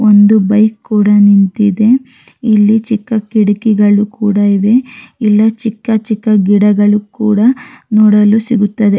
ಒಂದು ಬೈಕ್ ಕೂಡ ನಿಂತಿದೆ ಇಲ್ಲಿ ಚಿಕ್ಕ ಕಿಟಕಿ ಕೂಡ ಇದೆ ಇಲ್ಲಿ ಚಿಕ್ಕ ಚಿಕ್ಕ ಗಿಡಗಳು ಕೂಡ ನೋಡಲು ಸಿಗುತ್ತದೆ.